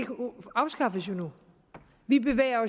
afskaffes nu vi bevæger